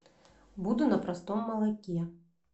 буду на простом молоке